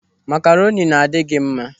Makaroni na-adị gị mma.